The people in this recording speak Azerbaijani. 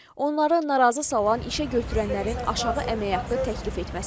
Onları narazı salan işəgötürənlərin aşağı əmək haqqı təklif etməsidir.